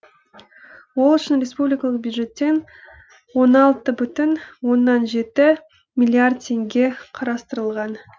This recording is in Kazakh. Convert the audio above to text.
ол үшін республикалық бюджеттен он алты бүтін оннан жеті миллиард теңге қарастырылған